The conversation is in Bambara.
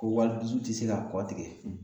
Ko wali dusu te se ka kɔ tigɛ